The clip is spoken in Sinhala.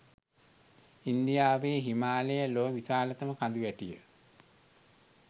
ඉන්දියාවේ හිමාලය ලොව විශාලතම කඳුවැටිය